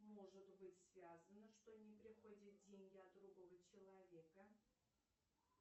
может быть связано что не приходят деньги от другого человека